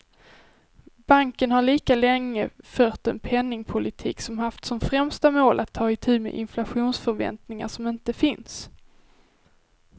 Banken har lika länge fört en penningpolitik som haft som främsta mål att ta itu med inflationsförväntningar som inte finns.